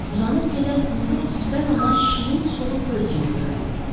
Uzanıb gedən qumluq birdən ona şirin sulu göl kimi göründü.